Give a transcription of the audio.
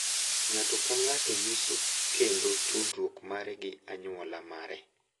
Ng’ato ka ng’ato nyiso kendo tudruok mare gi anyuola mare